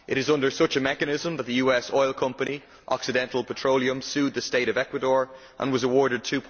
It is under such a mechanism that the US oil company Occidental Petroleum sued the state of Ecuador and was awarded USD